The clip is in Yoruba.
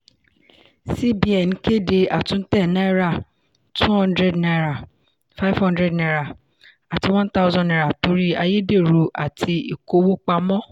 cbn kéde àtúntẹ̀ náírà two hundred naira five hundred naira àti one thousand naira torí àyédèrú àti ìkówó pamọ́.